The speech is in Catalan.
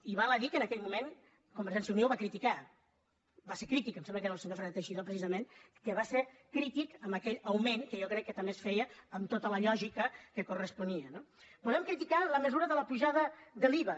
i val a dir que en aquell moment convergència i unió ho va criticar va ser crític em sembla que era el senyor fernández teixidó precisament que va ser crític amb aquell augment que jo crec que també es feia amb tota la lògica que corresponia no podem criticar la mesura de l’apujada de l’iva